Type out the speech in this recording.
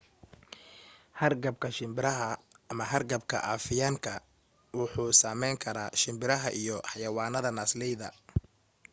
hargabka shimbiraha ama hargabka afiyaan ka wuxuu sameyn kara shimbiraha iyo xayawanada naasleyda